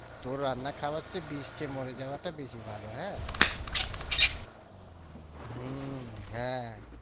তোর রান্না খাওয়ার চেয়ে বিষ খেয়ে মরে যাওয়াটা বেশি ভালো হ্যাঁ হম হ্যাঁ।